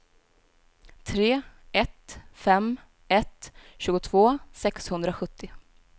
tre ett fem ett tjugotvå sexhundrasjuttio